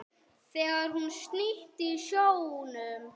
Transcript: Þegar hún synti í sjónum.